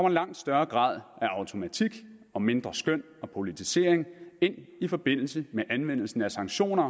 en langt større grad af automatik og mindre skøn og politisering ind i forbindelse med anvendelsen af sanktioner